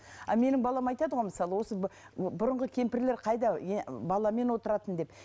а менің балам айтады ғой мысалы осы бұрынғы кемпірлер қайда баламен отыратын деп